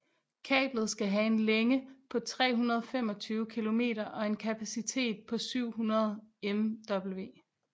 Kablet skal have en længe på 325km og en kapacitet på 700MW